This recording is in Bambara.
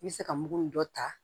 I bɛ se ka mugu ni dɔ ta